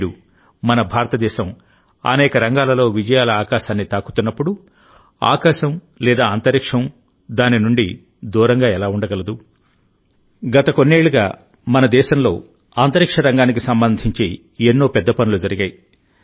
నేడుమన భారతదేశం అనేక రంగాలలో విజయాల ఆకాశాన్ని తాకుతున్నప్పుడుఆకాశం లేదా అంతరిక్షం దాని నుండి దూరంగా ఎలా ఉండగలదు గత కొన్నేళ్లుగా మన దేశంలో అంతరిక్ష రంగానికి సంబంధించి ఎన్నో పెద్ద పనులు జరిగాయి